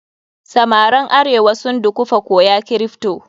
Samaran arewa sun dukufa koya kripto.